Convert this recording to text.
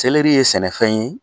ye sɛnɛfɛn ye.